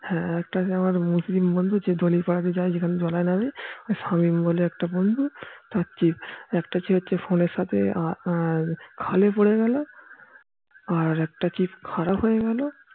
হ্যাঁ একটা আমার মুসলিম বন্ধু চিতলি পাড়া যেখান দিয়ে যাই যেখানে জল এ নামি শামীম বলে একটা বন্ধু তার চিপ একটা chip হচ্ছে ফোনের সাথে খালি পরে গেল আর একটা খারাপ হয় গেল